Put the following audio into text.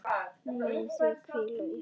Megið þið hvíla í friði.